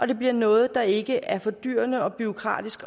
det bliver noget der ikke er fordyrende og bureaukratisk